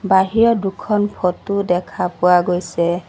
বাহিৰত দুখন ফটো দেখা পোৱা গৈছে।